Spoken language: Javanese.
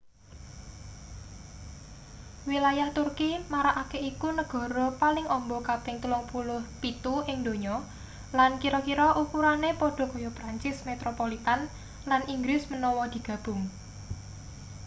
wilayah turki marakake iku negara paling amba kaping 37 ing donya lan kira-kira ukurane padha kaya prancis metropolitn lan inggris menawa digabung